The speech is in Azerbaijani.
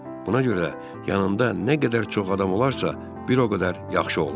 Buna görə də yanında nə qədər çox adam olarsa, bir o qədər yaxşı olar.